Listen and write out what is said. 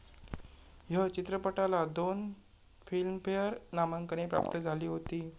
ह्य चित्रपटाला दोन फिल्मफेअर नामांकने प्राप्त झाली होती.